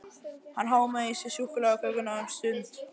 Hann hámaði í sig súkkulaðikökuna um stund.